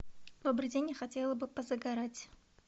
добрый день я хотела бы позагорать